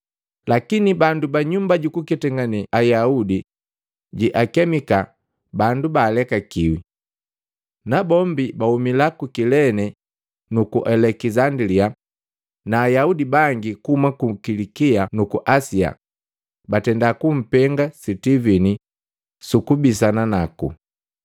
Lakini bandu ba Nyumba jukuketangane Ayaudi jeakemika “Bandu baalekakiwi.” Nabombi bauma ku Kilene nuku Alekisandilia na Ayaudi bangi kuhuma ku Kilikia nuku Asia batenda kumpenga Sitivini sukubisana naku.